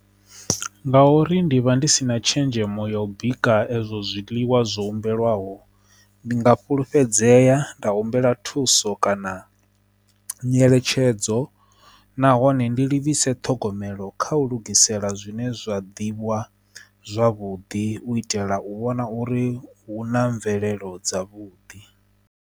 Ngauri ndi vha ndi si na tshenzhemo ya u bika ezwo zwiḽiwa zwo humbelwaho ndi nga fhulufhedzea nda humbela thuso kana nyeletshedzo dzo nahone ndi livhise ṱhogomelo kha u lugisela zwine zwa ḓivhiwa zwavhuḓi u itela u vhona uri hu na mvelelo dza vhuḓi.